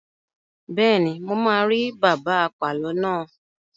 Bẹ́ẹ̀ni, mo máa rí bàbá apàlo náà.